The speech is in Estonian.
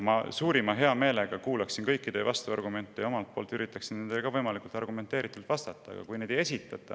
Ma suurima heameelega kuulaksin kõiki teie vastuargumente ja üritaksin nendele võimalikult argumenteeritult vastata, aga neid ei esitata.